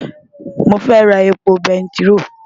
Mo fẹ́ ra epo bẹntiró.